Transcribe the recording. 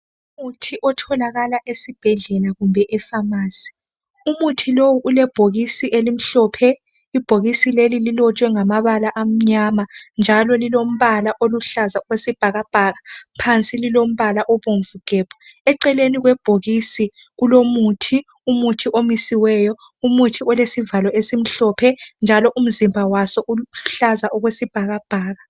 Umuthi otholakala esibhedlela kumbe e pharmacy. Umuthi lo ulebhokisi elimhlophe. Ibhokisi leli lilotshwe ngamabala amnyama njalo elilombala oluhlaza okwesibhakabhaka. Phansi lilombala obomvu gebhu. Eceleni kwebhokisi kulomuthi. Umuthi omisiweyo umuthi olesivalo esimhlophe njalo umzimba waso uluhlaza okwesibhakabhaka.